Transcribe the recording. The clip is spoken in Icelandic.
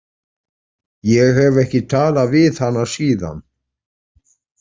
Ég hef ekki talað við hana síðan.